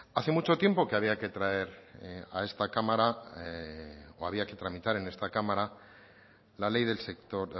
hace mucho tiempo que había que traer a esta cámara o había que tramitar en esta cámara la ley del sector